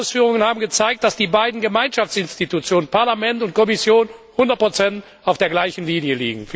Ihre Ausführungen haben gezeigt, dass die beiden Gemeinschaftsinstitutionen, Parlament und Kommission, 100 auf der gleichen Linie liegen.